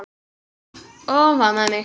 Og hún faðmaði mig.